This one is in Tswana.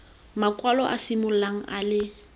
makwalo a simololang a le